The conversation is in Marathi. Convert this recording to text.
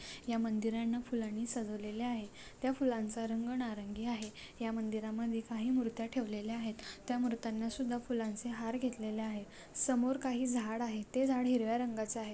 या मंदिरांना फुलांनी सजवलेल आहे त्या फुलांचा रंग नारंगी आहे त्या मंदिरामध्ये काही मुर्त्या ठेवलेल्या आहेत त्या मूर्त्यांना सुद्धा फुलांचे हार घेतलेले आहेत समोर काही झाड़ आहे ते झाड़ हिरव्या रंगाचे आहेत.